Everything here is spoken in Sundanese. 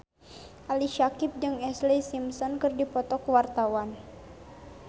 Ali Syakieb jeung Ashlee Simpson keur dipoto ku wartawan